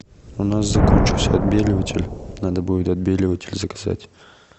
у нас закончился отбеливатель надо будет отбеливатель заказать